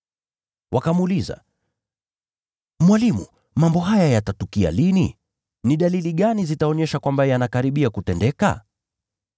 Wakamuuliza, “Mwalimu, mambo haya yatatukia lini? Ni dalili gani itaonyesha kwamba yanakaribia kutendeka?”